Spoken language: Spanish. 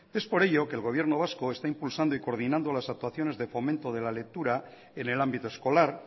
es por ello que el gobierno vasco está impulsando y coordinando las actuaciones de fomento de la lectura en el ámbito escolar